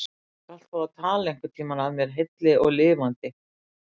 Þú skalt fá að tala einhverntíma að mér heilli og lifandi.